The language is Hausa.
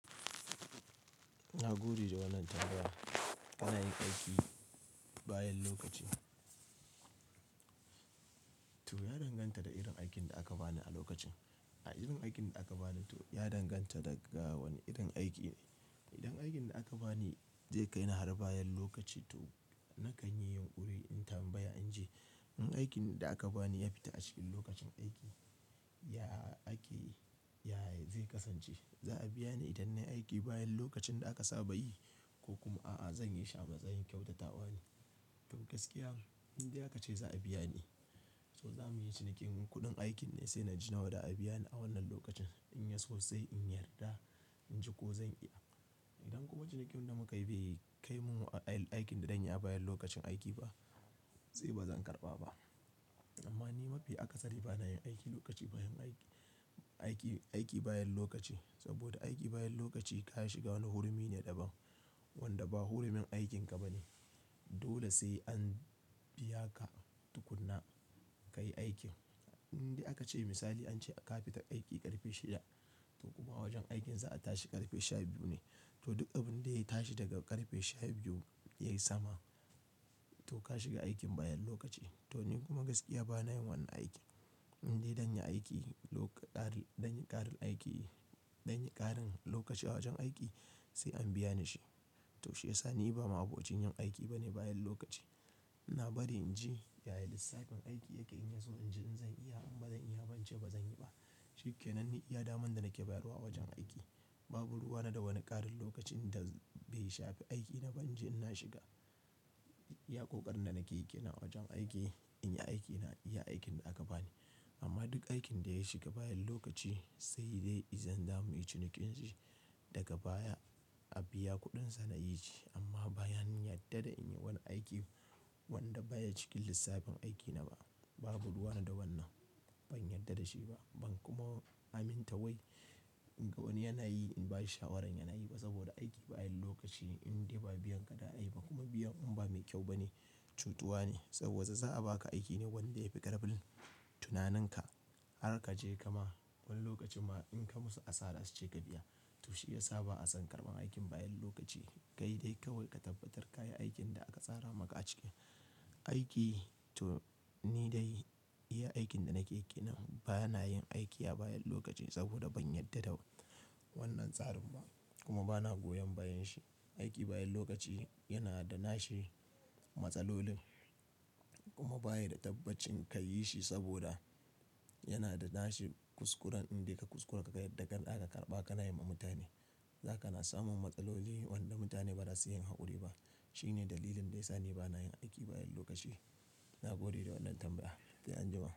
Na gode da wannan tambaya. Ina yin aiki bayan lokaci. To ya danganta da irin aikin da aka bani a lokacin. A irin aikin da aka bani to ya danganta daga wane irin aiki ne. Idan aikin da aka bani zai kai ni har bayan lokaci to nakan yi yunƙuri in tambaya inji, In aikin da aka bani ya fita a cikin lokacin aiki, ya ake, ya zai kasance. Za a biya ni idan nayi aiki bayan lokacin da aka saba yi ko kuma a'a zanyi shi a matsayin kyautatawa ne? To gaskiya, indai aka ce za a biya ni, to zamu yi cinikin kuɗin aikin ne sai na ji nawa za a biya ni a wannan lokacin. In ya so sai in yarda, in ji ko zan iya. Idan kuma cinikin da muka yi bai kai min a aikin da zan yi a bayan lokacin aiki ba, se ba zan karɓa ba. Amma ni mafi aka sari bana yin aiki lokaci bayan aiki, aiki, aiki bayan lokaci. Saboda aiki bayan lokaci ka shiga wani hurumi ne daban wanda ba hurumin aikinka ba ne. Dole sai an biya ka tukunna ka yi aikin. Indai aka ce misali an ce a ka fita aiki tin ƙarfe shida to kuma wajen aikin za a tashi ƙarfe shaye biyu ne to duk abin da ya tashi daga ƙarfe shaye biyu ya yi sama to ka shiga aikin bayan lokaci. To ni kuma gaskiya bana yin wannan aiki. Indai zanyi aiki loka ƙarin, danyi ƙarin aiki, danyi ƙarin lokaci a wajen aiki sai an biya ni shi. To shi ya sa ni ba ma abokin yin aiki bane bayan lokaci. Na bari in ji ya yi lissafin aiki ya ƙayyade su in ji in zan iya in ba zan iya ba, in ce ba zan yi ba. Shi ke nan ni iya daman da nake bayarwa wajen aiki. Babu ruwa na da wani ƙarin lokacin da bai shafe aiki na ba in ji in na shiga. Iya ƙoƙarin da nakeyi kenan wajen aiki, in yi aiki na iya aikin da aka bani. Amma duk aikin da ya shiga bayan lokaci sai dai idan za mu yi cinikin shi daga baya a biya kuɗinsa na yi shi. Amma bayan yarda da in yi wani aiki wanda baya cikin lissafin aiki na ba, babu ruwa na da wannan. Ban yarda da shi ba, ban kuma aminta wai in ga wani yana yi in ba shi shawaran yana yi ba. Saboda aiki bayan lokaci indai ba biyan ka za ai ba kuma biyan inba mai kyau ba ne, cutuwa ne. Saboda za a baka aiki ne wanda ya fi ƙarfin tunaninka har ka je ka ma wani lokacin ma in ka musu asara su ce ka biya. To shi ya sa ba a san ƙarban aikin bayan lokaci. Kai dai kawai ka tabbatar ka yi aikin da aka tsara maka a ciki. Aiki to ni dai iya aikin da nake ƙiƙina bana yin aiki a bayan lokaci saboda ban yarda da wannan tsarin ba kuma bana goyon bayanshi. Aiki bayan lokaci yana da nashi matsalolin kuma bayi da tabbacin ka yi shi saboda yana da nashi kuskuren indai ka kuskura ka ga yadda ganda aka karɓa ka na yi ma mutane. Zaka na samun matsaloli wanda mutane ba za su yi hankuri ba. Shi ne dalilin da ya sa ni bana yin aiki bayan lokaci. Na gode da wannan tambaya. Sai anjima.